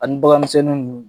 Ani bagan misɛnnin ninnu